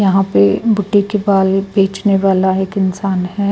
यहाँ पे बुढ्हे के बाल बेचने वाला एक इंसान है।